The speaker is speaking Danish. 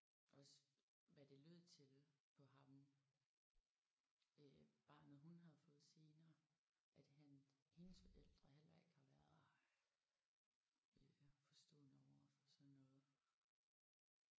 Også hvad det lød til på ham øh barnet hun havde fået senere at han hendes forældre heller ikke har været øh forstående overfor sådan noget